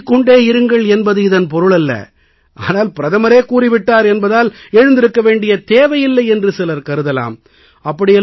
உறங்கிக் கொண்டே இருங்கள் என்பது இதன் பொருளல்ல ஆனால் பிரதமரே கூறி விட்டார் என்பதால் எழுந்திருக்க வேண்டிய தேவையில்லை என்று சிலர் கருதலாம்